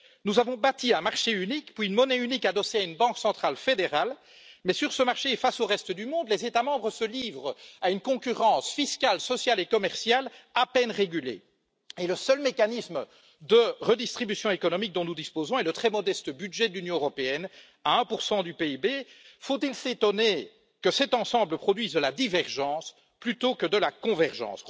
Nous avons bâti un marché unique puis une monnaie unique adossée à une banque centrale fédérale, mais sur ce marché et face au reste du monde, les États membres se livrent à une concurrence fiscale, sociale et commerciale à peine régulée et le seul mécanisme de redistribution économique dont nous disposons est le très modeste budget de l'Union européenne, qui représente 1 du PIB. Faut il s'étonner que cet ensemble produise de la divergence plutôt que de la convergence?